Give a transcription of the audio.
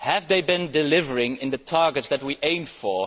have these sums been delivering on the targets that we aimed for?